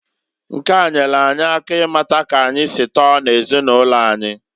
Nke a nyelu anyị ịmata k'anyi si tọọ n'ezinụlọ anyi.